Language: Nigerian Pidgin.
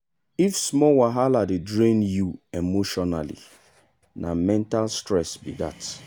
if small wahala dey drain you emotionally na mental stress be that.